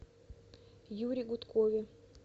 юре гудкове